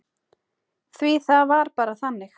Því það var bara þannig.